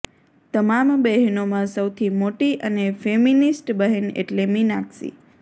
તમામ બહેનોમાં સૌથી મોટી અને ફેમિનિસ્ટ બહેન એટલે મીનાક્ષી